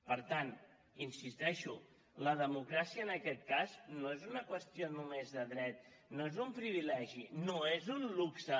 per tant hi insisteixo la democràcia en aquest cas no és una qüestió només de dret no és un privilegi no és un luxe